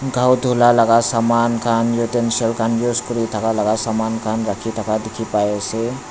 ghao dhula laga saman khan utensil khan use kuri thaka laga saman khan rakhi thaka dekhi pai asa.